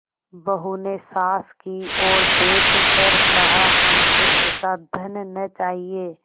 बहू ने सास की ओर देख कर कहाहमको ऐसा धन न चाहिए